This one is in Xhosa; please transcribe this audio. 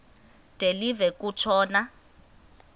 de live kutshona